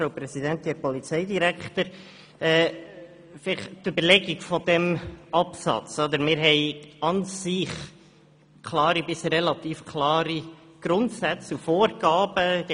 Zu den Überlegungen hinter diesem Rückweisungsantrag: Wir haben an und für sich klare bis relativ klare Grundsätze und Vorgaben.